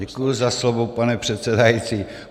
Děkuji za slovo, pane předsedající.